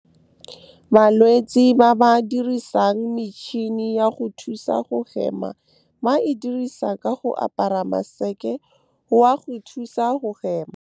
Balwetse ba ba dirisang metšhini ya go thusa go hema ba e dirisa ka go apara maseke wa go thusa go hema. Balwetse ba ba dirisang metšhini ya go thusa go hema ba e dirisa ka go apara maseke wa go thusa go hema.